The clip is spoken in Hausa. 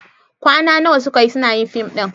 Kwana nawa suka yi suna yin fim ɗin?